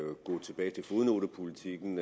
at gå tilbage til fodnotepolitikken